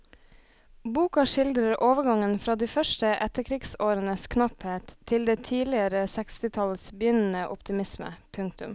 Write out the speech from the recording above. Boka skildrer overgangen fra de første etterkrigsårenes knapphet til det tidligere sekstitallets begynnende optimisme. punktum